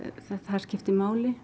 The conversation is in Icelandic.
það skipti máli